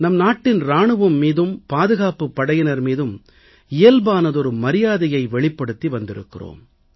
நம் நாட்டின் இராணுவம் மீதும் பாதுகாப்புப் படையினர் மீதும் இயல்பான மரியாதையை வெளிப்படுத்தி வந்திருக்கிறோம்